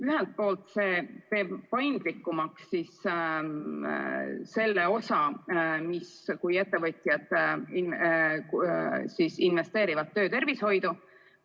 Ühelt poolt see teeb paindlikumaks selle osa, kui ettevõtjad investeerivad töötervishoidu.